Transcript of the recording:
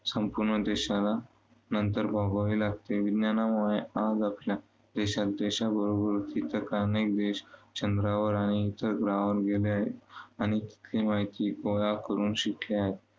संपूर्ण देशाला नंतर भोगावे लागते. विज्ञानामुळे आज आपल्या देशात देशाबरोबर इतर अनेक देश चंद्रावर आणि इतर ग्रहांवर गेले आहेत. आणि तिथली माहिती गोळा करून शिकले आहेत.